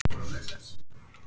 Hildur Björg.